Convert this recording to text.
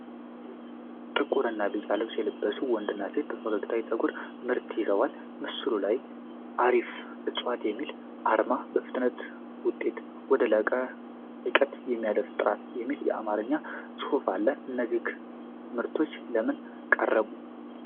ጥቁር እና ቢጫ ልብስ የለበሱ ወንድና ሴት በፈገግታ የፀጉር ምርቶችን ይዘዋል። በምስሉ ላይ 'አፍሪ ዕፅዋት' የሚል አርማና 'በፍጥነት ከውጤት ወደ ልቀት የሚያደርስ ጥራት' የሚል የአማርኛ ጽሑፍ አለ። እነዚህ ምርቶች ለምን ቀረቡ?